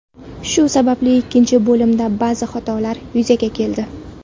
Shu sababli ikkinchi bo‘limda ba’zi xatolar yuzaga keldi.